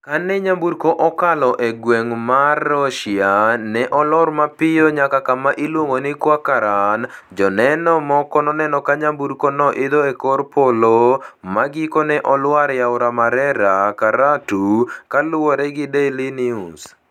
Kane nyamburko okalo e gweng ' mar Rhotia, ne olor mapiyo nyaka kama iluongo ni 'Kwa-Karan,' joneno moko noneno ka nyamburkono idho e kor polo ma gikone olwar e Aora Marera, Karatu, kaluwore gi Daily News.